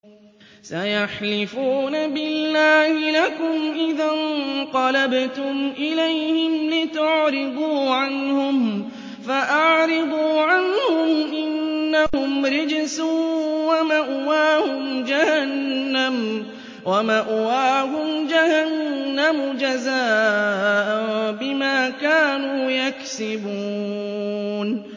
سَيَحْلِفُونَ بِاللَّهِ لَكُمْ إِذَا انقَلَبْتُمْ إِلَيْهِمْ لِتُعْرِضُوا عَنْهُمْ ۖ فَأَعْرِضُوا عَنْهُمْ ۖ إِنَّهُمْ رِجْسٌ ۖ وَمَأْوَاهُمْ جَهَنَّمُ جَزَاءً بِمَا كَانُوا يَكْسِبُونَ